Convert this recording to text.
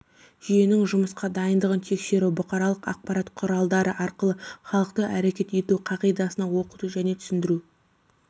жүйесінің жұмысқа дайындығын тексеру бұқаралық ақпарат құралдары арқылы халықты әрекет ету қағидасына оқыту және түсіндіру